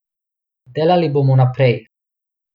Delali bomo naprej.